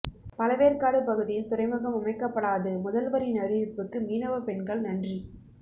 பழவேற்காடு பகுதியில் துறைமுகம் அமைக்கப்படாது முதல்வரின் அறிவிப்புக்கு மீனவ பெண்கள் நன்றி